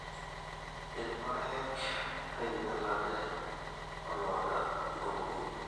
irrpaek oinyalate ooloota empurukunyi.